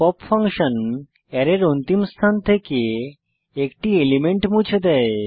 pop function অ্যারের অন্তিম স্থান থেকে একটি এলিমেন্ট মুছে দেয়